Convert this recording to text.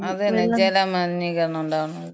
അതന്നെ ജലമലീനീകരണണ്ടാവണത്.